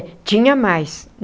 Tinha mais.